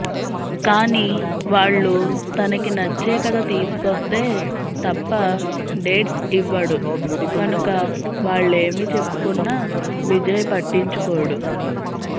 కానీ వాళ్లు తనకి నచ్చే కథ తీసుకొస్తే తప్ప డేట్స్ ఇవ్వడు కనుక వాళ్లేమి చెప్పుకున్నా విజయ్ పట్టించుకోడు